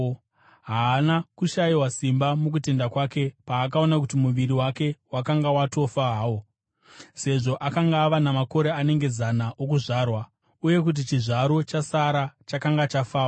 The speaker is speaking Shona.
Haana kushayiwa simba mukutenda kwake, paakaona kuti muviri wake wakanga watofa hawo, sezvo akanga ava namakore anenge zana okuzvarwa, uye kuti chizvaro chaSara chakanga chafawo.